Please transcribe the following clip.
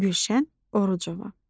Gülşən Orucova.